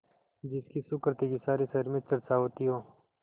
जिसकी सुकृति की सारे शहर में चर्चा होती हो